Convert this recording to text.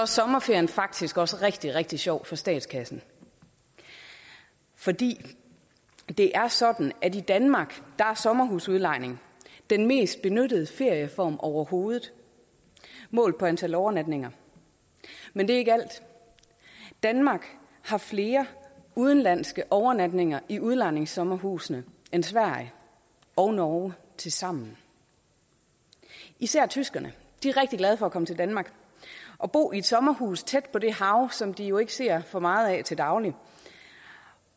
sommerferien faktisk også rigtig rigtig sjov for statskassen fordi det er sådan at i danmark er sommerhusudlejning den mest benyttede ferieform overhovedet målt på antal overnatninger men det er ikke alt danmark har flere udenlandske overnatninger i udlejningssommerhusene end sverige og norge tilsammen især tyskerne er rigtig glade for at komme til danmark og bo i et sommerhus tæt på det hav som de jo ikke ser for meget af til daglig